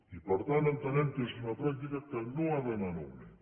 i per tant entenem que és una pràctica que no ha d’anar en augment